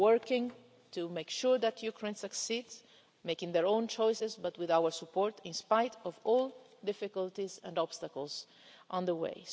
We're working to make sure that Ukraine succeeds, making its own choices but with our support, in spite of all the difficulties and obstacles along the way.